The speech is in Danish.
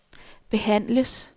behandles